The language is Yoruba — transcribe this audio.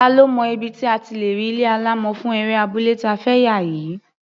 Ta ló mọ ibi tí a ti lè rí ilé alámọ̀ fún eré abúlé ta fẹ́ yà yìí?